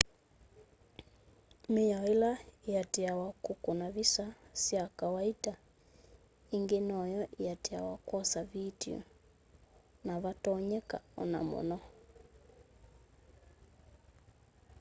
miao ila iatiiawa kukuna visa sya kawaita ingi noyo iatiiawa kwosya vitio navatonyeka ona muno